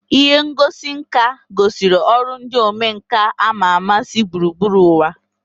Ihe ngosi nka gosiri ọrụ ndị omenkà ama ama si gburugburu ụwa